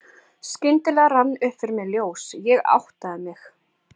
Skyndilega rann upp fyrir mér ljós, ég áttaði mig.